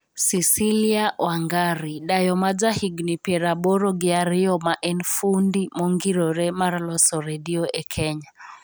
Cicilia Wangari:dayo ma ja higni piero aboro gi ariyo ma en fundi mongirore mar loso redio e Kenya